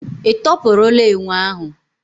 Ị tọpụrụla enwe ahu?